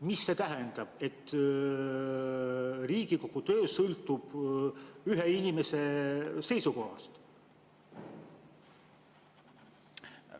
Mida see tähendab, kui Riigikogu töö sõltub ühe inimese seisukohast?